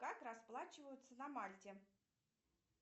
как расплачиваются на мальте